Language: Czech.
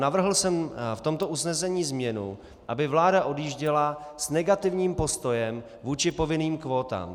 Navrhl jsem v tomto usnesení změnu, aby vláda odjížděla s negativním postojem vůči povinným kvótám.